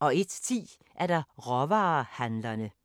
01:10: Råvarehandlerne